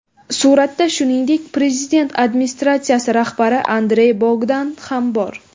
Suratda, shuningdek, Prezident administratsiyasi rahbari Andrey Bogdan ham bor.